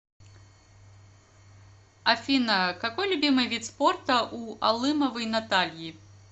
афина какой любимый вид спорта у алымовой натальи